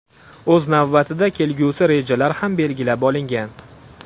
O‘z navbatida kelgusi rejalar ham belgilab olingan.